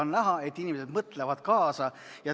On näha, et inimesed mõtlevad kaasa.